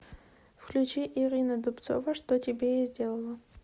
включи ирина дубцова что тебе я сделала